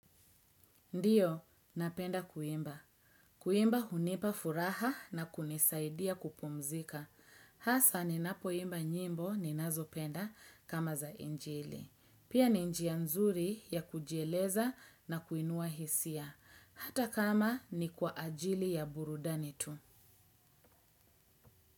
Ndiyo, napenda kuimba. Kuimba hunipa furaha na kunisaidia kupumzika. Hasa ninapoimba nyimbo ninazo penda kama za injili. Pia ni njia nzuri ya kujieleza na kuinua hisia. Hata kama ni kwa ajili ya burudani tu.